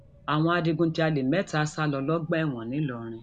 àwọn adigunjalè mẹta sá lọ lọgbà ẹwọn ńìlọrin